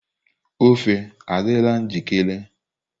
ofe adịla njikere?